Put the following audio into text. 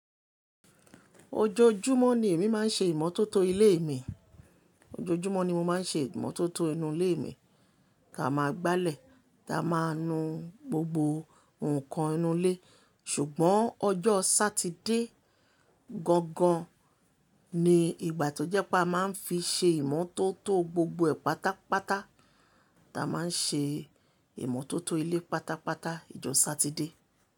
Ojoojúmọ́ ni èmi máa ń ṣe ìmọ́tótó ilé mi. Ojoojúmọ́ ni mo máa ń ṣe ìmọ́tótó inú ilé mi, Ta máa gbalẹ̀, Ta máa nu gbogbo nǹkan inú ilé. Ṣùgbọ́n ọjọ́ Sátidé gangan ni ìgbà tó jẹ́ pé a máa ń fi ṣe ìmọ́tótó gbogbo ẹ̀ pátápátá. A máa ń ṣe ìmọ́tótó ilé pátápátá ìjọ Sátidé.